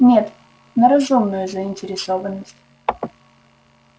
нет на разумную заинтересованность